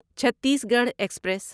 Chhattisgarh express